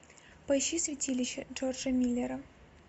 поищи святилище джорджа миллера